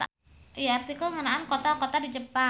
Ieu artikel ngeunaan kota-kota di Jepang.